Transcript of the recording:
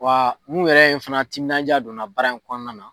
Wa mun yɛrɛ ye n fɛnɛ timinanja don n na baara in kɔnɔna na